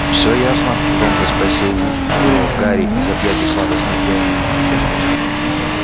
все ясно громко спросил вуд вырвав гарри из объятий сладостной дремы